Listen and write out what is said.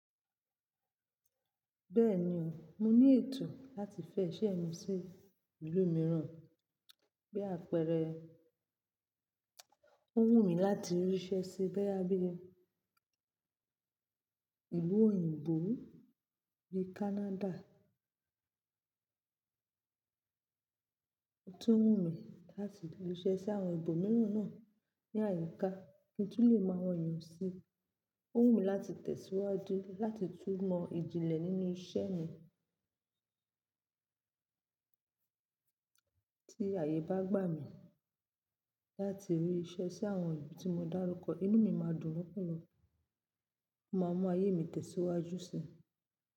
Bẹ́ẹ̀ni o, mo ní ètò láti fẹ́ iṣẹ́ mi sí ìlú mìíràn, bí àpẹẹrẹ, ó wù mí láti ríṣẹ́ sí bóyá bí i ìlú òyìnbó bí i Canada. Ó tún wù mí láti ríṣẹ́ sí àwọn ibo mìíràn náà ní àyíká kí n tú lè mọ àwọn ènìyàn sí i. Ó wù mí láti tẹ̀síwájú láti tún mọ ìjìnlẹ̀ nínú iṣẹ́ mi. Tí ààyè bá gbà mí láti ríṣẹ́ sí àwọn ibi tí mo dárúkọ, inú mi máa dùn púpọ̀, mo máa mú ayé mi tẹ̀síwájú si.